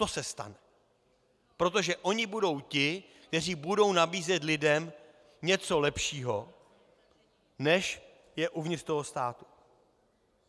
To se stane, protože oni budou ti, kteří budou nabízet lidem něco lepšího, než je uvnitř toho státu.